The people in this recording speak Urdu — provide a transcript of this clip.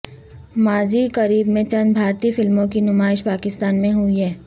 ماضی قریب میں چند بھارتی فلموں کی نمائش پاکستان میں ہوئی ہے